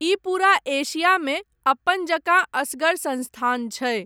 ई पूरा एशियामे अपन जकाँ असगर संस्थान छै।